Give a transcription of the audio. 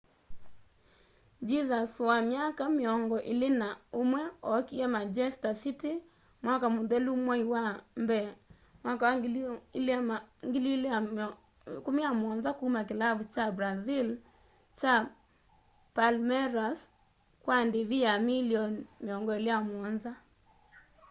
jesus wa myaka mĩongo ĩlĩ na ũmwe ookie manchester city mwaka mũthelu mwai wa mbee 2017 kuma kĩlavu kya brazil kya palmeiras kwa ndĩvi ya milioni £27